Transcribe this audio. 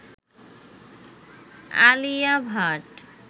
Alia Bhatt